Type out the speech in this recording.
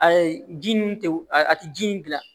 Ayi ji nun tɛ a tɛ ji in dilan